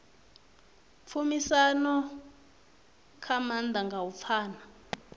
tshumisano zwa maanḓa nga u pfana